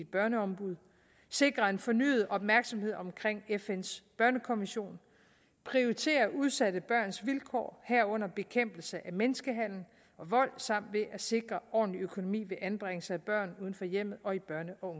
børneombud sikre en fornyet opmærksomhed omkring fns børnekonvention prioritere udsatte børns vilkår herunder bekæmpelse af menneskehandel og vold samt ved at sikre ordentlig økonomi ved anbringelser af børn uden for hjemmet og i børne og